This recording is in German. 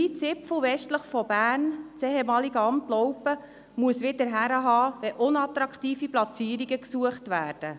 Dieser kleine Zipfel westlich von Bern, das ehemalige Amt Laupen, muss wieder hinhalten, wenn unattraktive Platzierungen gesucht werden.